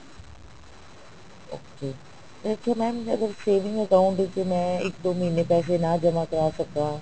okay ਇਹ ਚ mam ਅਗਰ saving account ਚ ਮੈਂ ਇੱਕ ਦੋ ਮਹੀਨੇ ਪੈਸੇ ਨਾ ਜਮਾਂਕਰ ਸਕਾਂ